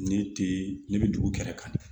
Ne tɛ ne bɛ dugu kɛrɛ kan